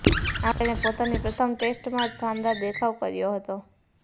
આમ તેણે પોતાની પ્રથમ ટેસ્ટમાં જ શાનદાર દેખાવ કર્યો હતો